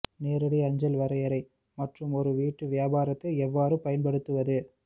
நேரடி அஞ்சல் வரையறை மற்றும் ஒரு வீட்டு வியாபாரத்தை எவ்வாறு பயன்படுத்துவது